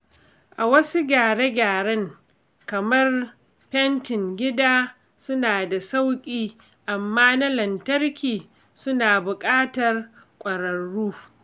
Wasu gyare-gyaren kamar fentin gida suna da sauƙi, amma na lantarki suna bukatar ƙwararru.